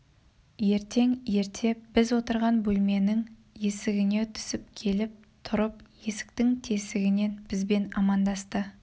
ертең ерте біз отырған бөлменің есігіне түсіп келіп тұрып есіктің тесігінен бізбен амандасты